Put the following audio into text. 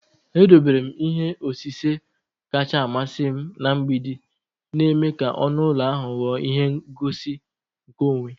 Edobere m ihe osise kacha amasị m na mgbidi, na-eme ka ọnụ ụlọ ahụ ghọọ ihe ngosi nke onwe.